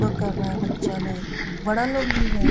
योग कर रहा है बच्चा लोग बड़ा लोग भी है ।